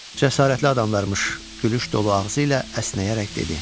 Cəsarətli adammış, gülüş dolu ağzı ilə əsnəyərək dedi.